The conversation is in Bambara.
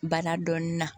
Bana dɔɔnin na